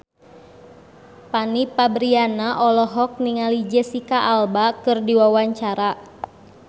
Fanny Fabriana olohok ningali Jesicca Alba keur diwawancara